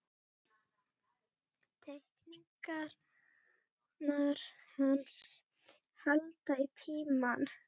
Teikningarnar hans halda í tímann.